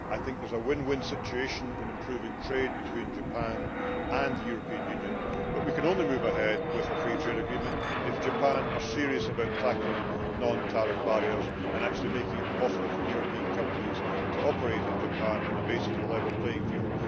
I think there is a win win situation in improving trade between Japan and the European Union, but we can only move ahead with a free trade agreement if Japan is serious about tackling non tariff barriers and actually making it possible for European companies to operate in Japan on the basis of a level playing field.